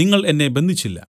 നിങ്ങൾ എന്നെ ബന്ധിച്ചില്ല